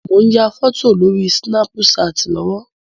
Mò ń ya fọ́tò lórí Sínápú ṣaàtì lọ́wọ́.